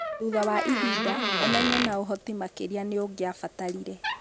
Thutha wa ihinda, ũmenyo na ũhoti makĩria nĩ ũngĩabatarire.